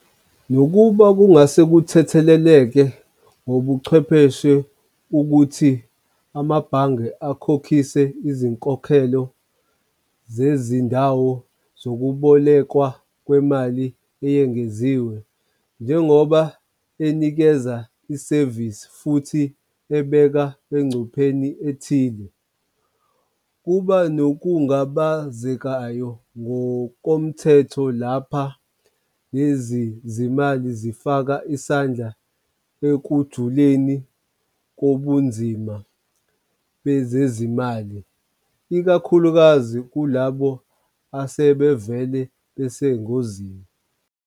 Nokuba kungase kuthetheleleke ngobuchwepheshe ukuthi amabhange akhokhise izinkokhelo zezindawo zokubolekwa kwemali eyengeziwe. Njengoba enikeza isevisi futhi ebeka engcupheni ethile kuba nokungabazekayo ngokomthetho lapha, lezi zimali zifaka isandla ekujuleni kobunzima bezezimali ikakhulukazi kulabo asebevele besengozini.